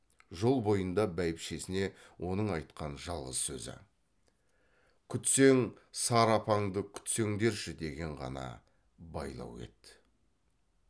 жол бойында бәйбішесіне оның айтқан жалғыз сөзі күтсең сары апаңды күтсеңдерші деген ғана байлау еді